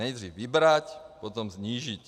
Nejdřív vybrat, potom snížit.